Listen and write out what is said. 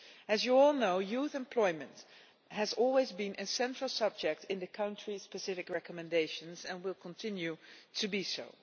As you all know, youth employment has always been a central subject in the country-specific recommendations, and will continue to be so.